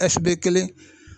kelen.